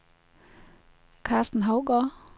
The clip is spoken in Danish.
Karsten Hougaard